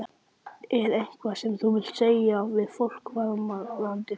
Er eitthvað sem þú vilt segja við fólk varðandi þá?